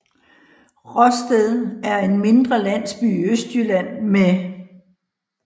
Råsted er en mindre landsby i Østjylland med